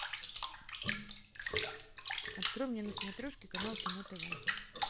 открой мне на смотрешке канал кино тв